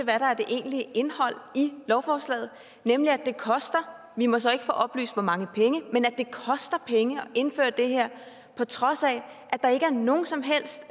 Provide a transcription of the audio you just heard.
der er det egentlige indhold i lovforslaget nemlig at det koster vi må så ikke få oplyst hvor mange penge at indføre det her på trods af at der ikke er nogen som helst